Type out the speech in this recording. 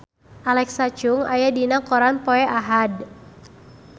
Alexa Chung aya dina koran poe Ahad